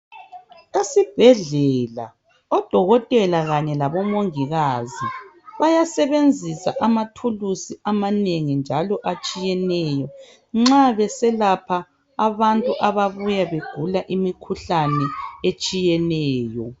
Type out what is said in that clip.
Esibhedlela, odokotela kanye labo mungikazi, bayasebenzisa amathuluzi amanengi njalo atshiyeneyo, nxa beselapha abantu ababuya begula imikhuhlane etshiyeneyo.